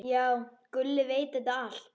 Já, Gulli veit þetta allt.